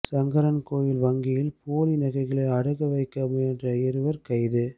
சங்கரன்கோவில் வங்கியில் போலி நகைகளை அடகு வைக்க முயன்ற இருவா் கைது